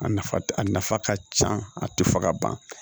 A nafa a nafa ka ca a tɛ fɔ ka ban